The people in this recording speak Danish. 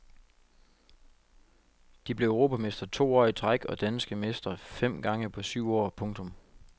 De blev europamestre to år i træk og danske mestre fem gange på syv år. punktum